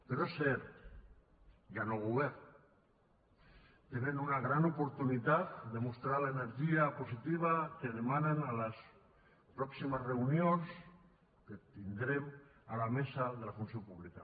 però és cert hi ha nou govern tenen una gran oportunitat de mostrar l’energia positiva que demanen a les pròximes reunions que tindrem a la mesa de la funció pública